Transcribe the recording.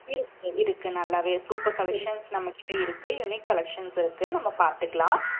இருக்கு இருக்கு நல்லாவே. super collections நம்மகிட்ட இருக்கு. unique collections இருக்கு நம்ம பார்த்துக்கலாம்